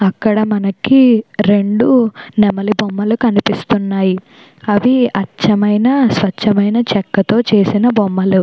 అక్కడ మనకి రెండు నెమలి బొమ్మలు కనిపిస్తూ ఉన్నాయి అవి అచ్చమైన స్వచ్ఛమైన చెక్కతో చేసిన బొమ్మలు.